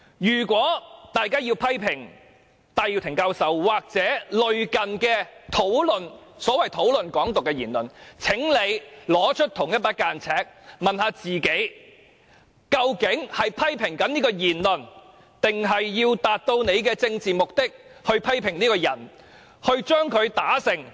如果大家要批評戴耀廷教授或所謂討論"港獨"的言論，請拿出同一把尺，問一問自己究竟是在批評這種言論，還是為了達到自己的政治目的而批評這個人，要令他萬劫不復、永不超生？